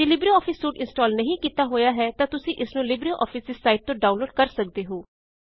ਜੇ LibreOffice suite install ਨਹੀਂ ਕੀਤਾ ਹੋਇਆ ਹੈ ਤਾਂ ਤੁਸੀ ਇਸ ਨੂੰ ਲਿਬਰੇਆਫਿਸ ਦੀ ਸਾਇਟ ਤੋਂ ਡਾਉਨਲੋਡ ਕਰ ਸਕਦੇ ਹੋ